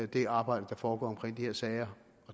det arbejde der foregår i de her sager